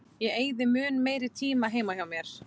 Ég eyði mun meiri tíma heima hjá mér.